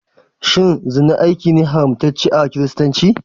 Shin zina aiki ne haramtacce a kiristanci?